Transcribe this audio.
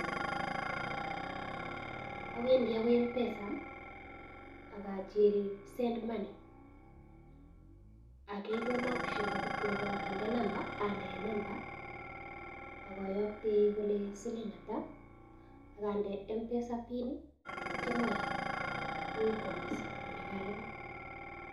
Awendii akoi mpesa ak achill send money, akikenon ole kindo nambait Ande nambait anyun, ak ayoktei kole siling ata ak ande mpesa pin ak yeityoo ayoktee kowekwon message kole karalipan